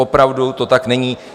Opravdu to tak není.